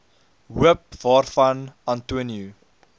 hoop waarvan antonio